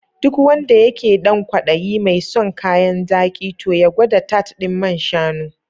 Duk wanda yake dan kwaɗayi mai son kayan zaki toh ya gwada tart ɗin man shanu.